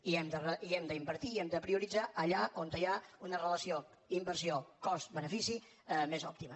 i hem d’invertir i hem de prioritzar allà on hi ha una relació d’inversió cost benefici més òptima